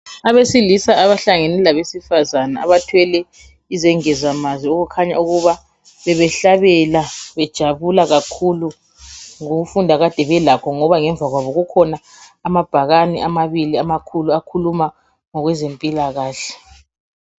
abesilisa abahlangene labesifazana abathwele izingezamanziokukhanya ukuba bebehlabela bejabula kakhulu ngokufunda akade belakho ngoba ngemvakwabo kukhona amabhakani amabili amakhulu akhuluma ngokwezempilakahle